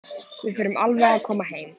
Við förum alveg að koma heim.